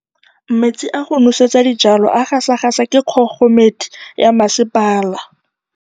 Metsi a go nosetsa dijalo a gasa gasa ke kgogomedi ya masepala.